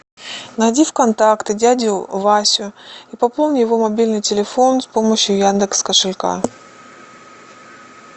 найди в контакты дядю васю и пополни его мобильный телефон с помощью яндекс кошелька